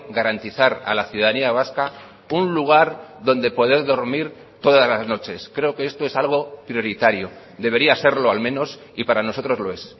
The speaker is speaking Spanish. garantizar a la ciudadanía vasca un lugar donde poder dormir todas las noches creo que esto es algo prioritario debería serlo al menos y para nosotros lo es